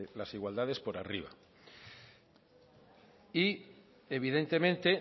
las igualdades por arriba y evidentemente